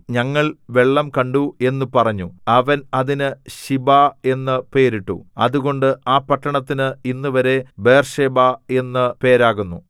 ഞങ്ങൾ വെള്ളം കണ്ടു എന്നു പറഞ്ഞു അവൻ അതിന് ശിബാ എന്നു പേരിട്ടു അതുകൊണ്ട് ആ പട്ടണത്തിന് ഇന്നുവരെ ബേർശേബ എന്നു പേരാകുന്നു